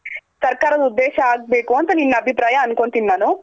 ಸರ್ಕಾರದ್ ಉದ್ದೇಶ ಆಗ್ಬೇಕು ಅಂತ ನೀನ್ ಅಭಿಪ್ರಾಯ ಅನ್ಕೊಂತೀನಿ ನಾನು.